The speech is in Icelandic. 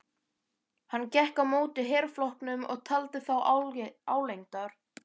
Hann gekk á móti herflokknum og taldi þá álengdar.